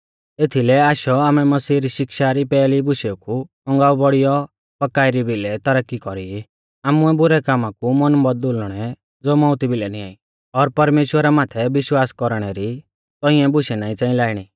एथीलै आशौ आमै मसीह री शिक्षा री पैहली बुशेऊ कु औगांऊ बौड़ियौ पक्काई री भिलै तरक्की कौरी आमुऐ बुरै कामा कु मन बौदुल़णै ज़ो मौउती भिलै निंआई और परमेश्‍वरा माथै विश्वास कौरणै री तौंइऐ बुशै नाईं च़ांई लाइणी